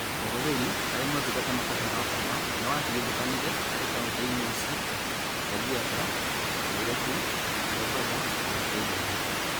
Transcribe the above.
Ũhũthĩri harĩ motungata matarĩ ma gũkoma nĩwatigithũkanire harĩ kauntĩ inĩ cia Kajiado, Nairobi, Mombasa, na Kirinyaga.